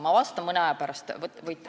Ma vastan mõne aja pärast.